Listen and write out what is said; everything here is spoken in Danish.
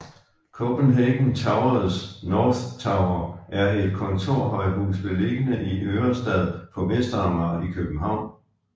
Copenhagen Towers North Tower er et kontorhøjhus beliggende i Ørestad på Vestamager i København